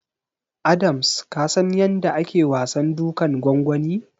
Adams ka san yanda ake wasan dukan gwangwani?